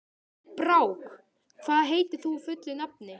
Brák, hvað heitir þú fullu nafni?